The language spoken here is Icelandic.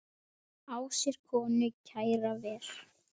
Á sér konu kæra ver.